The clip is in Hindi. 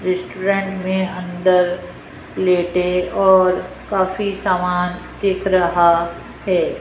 रेस्टोरेंट में अंदर प्लेटे और काफी सामान दिख रहा है।